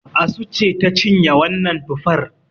Asu ce ta cinye wannan tufar